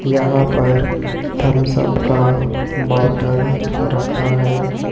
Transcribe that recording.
यहां पर थम्सअप का बॉटल रखा है।